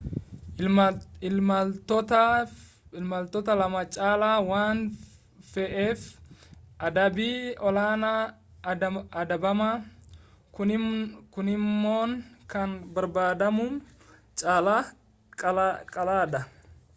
imaltoota 2 caalaa waan fe'eef adabbii olaanaa adabama kunimmoo kan barbaadamuun caalaa qaala'aadha